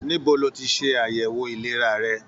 Níbo ló tí ṣe àyẹwò ìlera rẹ?